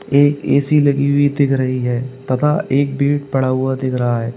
ये ऐ_सी लगी हुई दिख रही है तथा एक बेड पड़ा हुआ दिख रहा है।